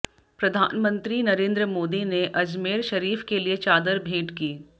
प्रधानमंत्री नरेंद्र मोदी ने अजमेर शरीफ के लिए चादर भेंट की